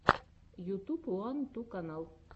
ютуб уан ту канал